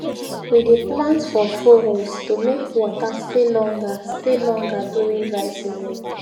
we dey plant for furrows to make water stay longer stay longer during dry season